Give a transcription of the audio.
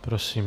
Prosím.